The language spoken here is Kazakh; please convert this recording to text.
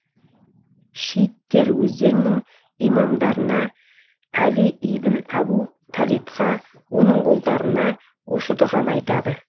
шииттер өздерінің имамдарына әли ибн әбу талибқа оның ұлдарына осы дұғаны айтады